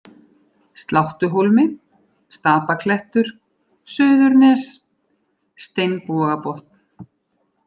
Sláttuhólmi, Stapaklettur, Suðurnes, Steinbogabotn